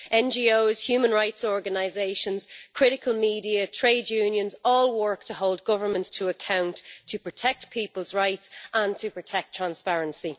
NGOs, human rights organisations, critical media and trade unions all work to hold governments to account, to protect people's rights and to protect transparency.